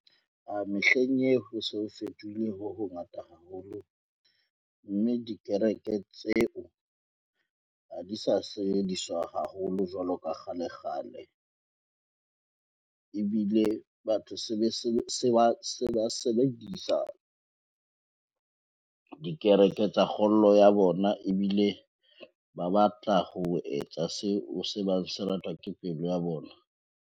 Mehleng eo ho so ho fetohile ho ho ngata haholo, mme dikereke tseo ha di sa sebediswa haholo jwalo ka kgale-kgale. Ebile le batho se ba sebedisa dikereke tsa kgolo ya bona, ebile ba batla ho etsa seo se ratwa ke pelo ya bona.